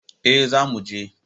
Eh, za mu je